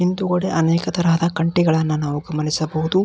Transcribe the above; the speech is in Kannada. ಹಿಂದುಗಡೆ ಅನೇಕ ತರಹದ ಕಂಟಿಗಳನ್ನು ನಾವು ಗಮನಿಸಬಹುದು.